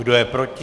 Kdo je proti?